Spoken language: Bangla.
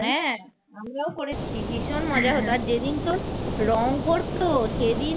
রং করত সেদিন